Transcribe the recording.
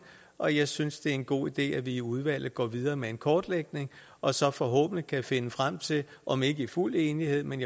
og jeg synes det er en god idé at vi i udvalget går videre med en kortlægning og så forhåbentlig kan finde frem til om ikke i fuld enighed men